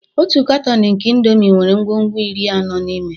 Otu katọn nke indomie nwere ngwugwu iri anọ n'ime